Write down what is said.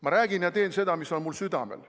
Ma räägin ja teen seda, mis on mul südamel.